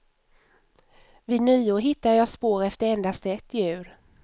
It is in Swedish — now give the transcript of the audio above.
Vid nyår hittade jag spår efter endast ett djur.